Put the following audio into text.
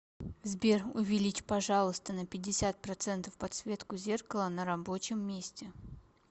сбер увеличь пожалуйста на пятьдесят процентов подсветку зеркала на рабочем месте